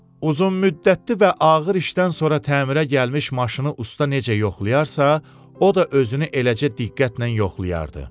Uzunmüddətli və ağır işdən sonra təmirə gəlmiş maşını usta necə yoxlayırsa, o da özünü eləcə diqqətnən yoxlayardı.